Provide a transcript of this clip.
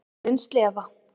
Dýrin slefa.